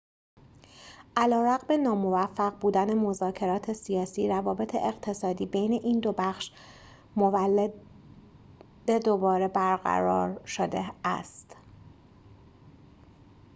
علیرغم ناموفق بودن مذاکرات سیاسی روابط اقتصادی بین این دو بخش مولداوی دوباره برقرار شده است